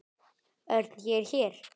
Örn, ég er hér